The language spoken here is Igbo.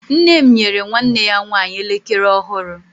nne m nyere nwanne ya nwanyi elekere ọhụrụ